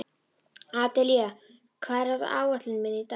Adelía, hvað er á áætluninni minni í dag?